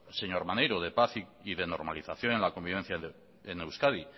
señor maneiro de paz y de normalización en la convivencia en euskadi